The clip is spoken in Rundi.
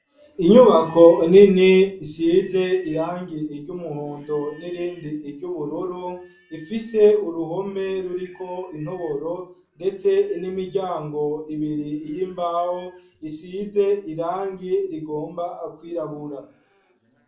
Inyubako nini isize irangi ry'umuhondo n'irindi ry'ubururu ifise uruhome ruriko intoboro ndetse n'imiryango ibiri yi mbaho isize irangi rigomba kwirabura.